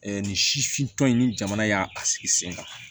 nin sifintɔ in ni jamana y'a sigi sen kan